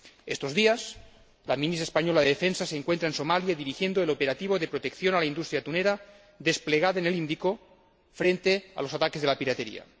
Estos días, la Ministra española de Defensa se encuentra en Somalia dirigiendo el operativo de protección de la industria atunera desplegada en el Índico, frente a los ataques de la piratería.